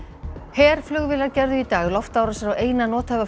herflugvélar gerðu í dag loftárásir á eina nothæfa